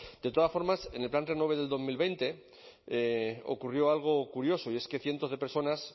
de todas formas en el plan renove de dos mil veinte ocurrió algo curioso y es que cientos de personas